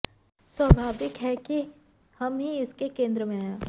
स्वाभाविक है कि हम ही इसके केंद्र में हैं